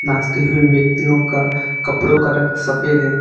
नाचते हुए व्यक्तियों का कपड़ों का रंग सफेद है।